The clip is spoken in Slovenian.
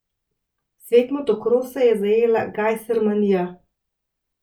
Svet motokrosa je zajela Gajsermanija!